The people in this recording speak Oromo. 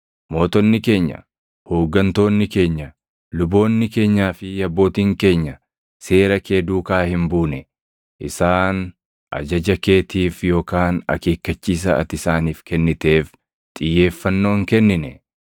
Mootonni keenya, hooggantoonni keenya, luboonni keenyaa fi abbootiin keenya seera kee duukaa hin buune; isaan ajaja keetiif yookaan akeekkachiisa ati isaaniif kenniteef xiyyeeffannoo hin kennine.